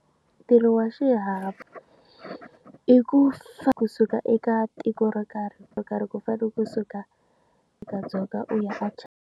Ntirho wa xihahampfhuka i ku hlaya kusuka eka tiko ro karhi ro karhi ku fanele kusuka eka Dzonga u ya a.